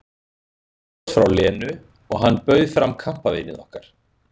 Eitt bros frá Lenu og hann bauð fram kampavínið okkar.